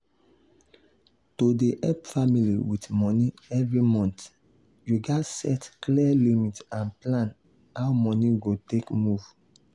to dey help family with money every month you gats set clear limit and plan how money go take move.